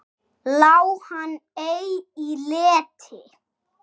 Lá hann ei í leti.